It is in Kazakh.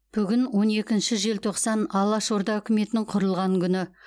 бүгін он екінші желтоқсан алаш орда үкіметінің құрылған күні